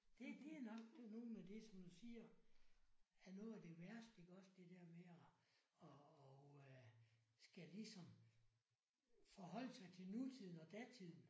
Det det er nok nogen af det som du siger er noget af det værste iggås det der med at og og skal ligesom forholde sig til nutiden og datiden